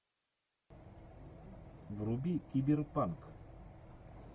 вруби киберпанк